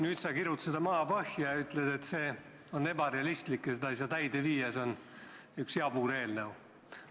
Nüüd sa kirud seda maapõhja ja ütled, et see on ebarealistlik, seda ei saa täide viia ja see on üks jabur eelnõu.